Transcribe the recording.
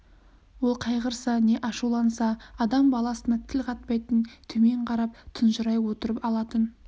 ол қайғырса не ашуланса адам баласына тіл қатпайтын төмен қарап тұнжырай отырып алатын